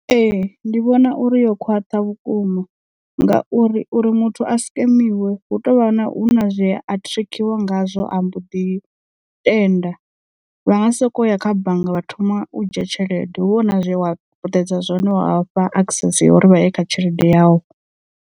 Ee ndi vhona uri yo khwaṱha vhukuma ngauri uri muthu a sikemiwa hu tovha na hu na zwea a trickiwa ngazwo a mbo ḓi tenda vha nga soko ya kha bannga vha thoma u dzhia tshelede hu vha hu na zwe wa puṱedza zwone wa fha access ya uri vha ye kha tshelede yau.